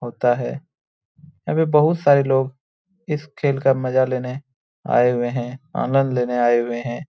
होता है। यहां पर बहुत सारे लोग इस खेल का मजा लेने आए हुए हैं। आनंद लेने आए हुए हैं।